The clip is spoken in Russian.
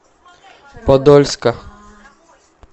подольска